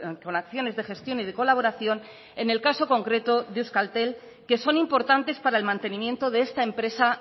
con acciones de gestión y de colaboración en el caso concreto de euskaltel que son importantes para el mantenimiento de esta empresa